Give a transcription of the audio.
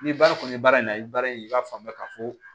Ni baara kɔni baara in na ni baara in i b'a faamuya k'a fɔ